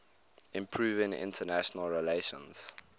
improving international relations